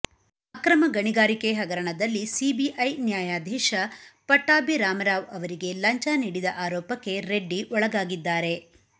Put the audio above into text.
ಅಕ್ರಮ ಗಣಿಗಾರಿಕೆ ಹಗರಣದಲ್ಲಿ ಸಿಬಿಐ ನ್ಯಾಯಾಧೀಶ ಪಟ್ಟಭಿರಾಮರಾವ್ ಅವರಿಗೆ ಲಂಚ ನೀಡಿದ ಆರೋಪಕ್ಕೆ ರೆಡ್ಡಿ ಒಳಗಾಗಿದ್ದಾರೆ